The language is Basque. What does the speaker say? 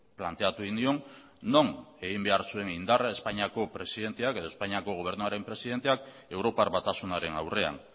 planteatu egin nion non egin behar zuen indarra espainiako presidenteak edo espainiako gobernuaren presidenteak europar batasunaren aurrean